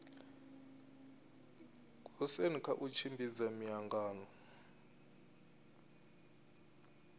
goosen kha u tshimbidza miangano